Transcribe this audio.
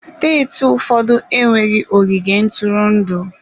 Steeti ụfọdụ enweghị ogige ntụrụndụ.